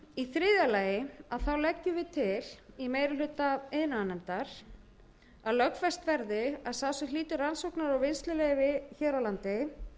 í þriðja lagi leggur meiri hlutinn til að lögfest verði að sá sem hlýtur rannsóknar og vinnsluleyfi hér á landi